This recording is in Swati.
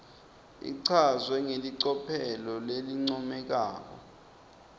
ichazwe ngelicophelo lelincomekako